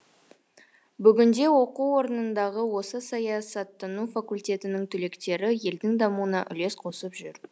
бүгінде оқу орнындағы осы саясаттану факультетінің түлектері елдің дамуына үлес қосып жүр